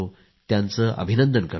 त्यांचे अभिनंदन करतो